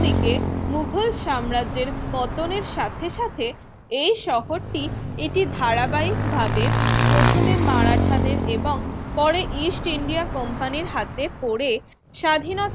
দিকে মুঘল সাম্রাজ্যের পতনের সাথে সাথে এই শহরটি এটি ধারাবাহিকভাবে প্রথমে মারাঠাদের এবং পরে ইস্ট ইন্ডিয়া কোম্পানির হাতে পড়ে স্বাধীনতা